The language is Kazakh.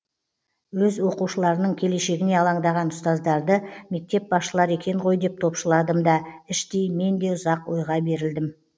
өз оқушыларының келешегіне алаңдаған ұстаздарды мектеп басшылары екен ғой деп топшыладым да іштей мен де ұзақ ойға берілдім